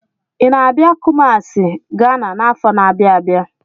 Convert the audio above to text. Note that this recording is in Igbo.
Ị na-abịa Kumasi, Ghana n'afọ na-abịa abịa?